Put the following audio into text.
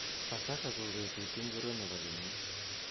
Pasaka ko betut ingiro nebo kenyit